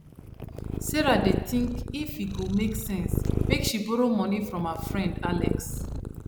sarah dey think if e go make sense make she borrow money from her friend alex